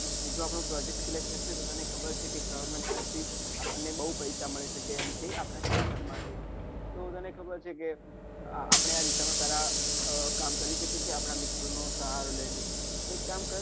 જો આપણો project select થશે તો તને ખબરજ છે government તરફથી આપણને બઉ પૈસા મળી શકે એમ છે આપણા start up તો તને ખબર છે કે આપણે આ દિશામાં સારા આહ કામ કરી શકીએ છીએ આપણા મિત્રોનો સહારો લઈને તો એક કામ કર